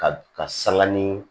Ka ka sanga ni